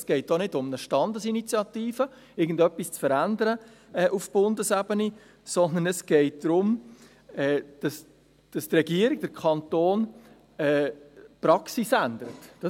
Es geht auch nicht um eine Standesinitiative, um auf Bundesebene irgendetwas zu verändern, sondern es geht darum, dass die Regierung – der Kanton – die Praxis ändern soll.